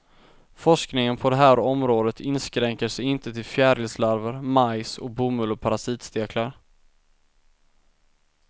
Forskningen på det här området inskränker sig inte till fjärilslarver, majs och bomull och parasitsteklar.